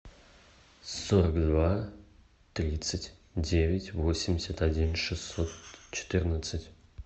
сорок два тридцать девять восемьдесят один шестьсот четырнадцать